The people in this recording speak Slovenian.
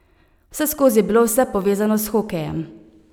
Vseskozi je bilo vse povezano s hokejem.